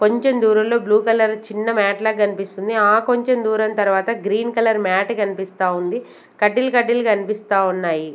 కొంచం దూరం లో బ్లూ కలర్ చిన్న మ్యాట్ లాగ్ గన్పిస్తుంది. ఆ కొంచం దూరం తరువాత గ్రీన్ కలర్ మ్యాట్ గన్పిస్తా ఉంది. కడ్డీల్ కడ్డీలు కనిపిస్తా ఉన్నాయి.